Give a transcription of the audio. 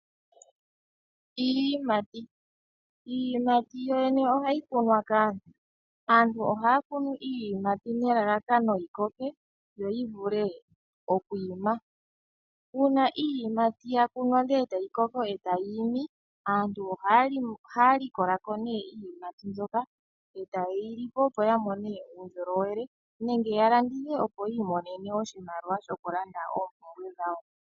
Iiyimati, iiyimati yoyene oha yikwunwa kaantu. Aantu oha ya kunu iiyimati nelalakano yi koke yo yivule okwiima. Uuna iiyimati ya kunwa ndele eta yikoko eta yiimi aantu oha ya likolako nee iiyimati mboka eta yeyi lipo opo yamone uundjolowele nenge ya landithe opo yi imonene oshimaliwa shokulanda oompumbwe dhawo.